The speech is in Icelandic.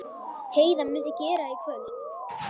Heiða mundi gera í kvöld.